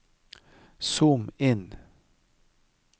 zoom inn